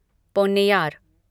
Ponnaiyar